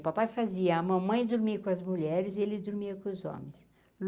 O papai fazia, a mamãe dormir com as mulheres e ele dormia com os homens.